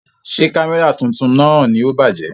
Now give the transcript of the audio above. Ṣé Kámẹ́rà tuntun náà ni ó bàjẹ́?